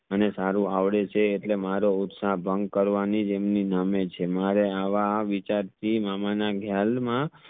મને સારું આવડે છે એટલે મારો ઉત્સા ભંગ કરવાની જેમની નામ એજ છે મારે આવા વિચાર થી મામા માં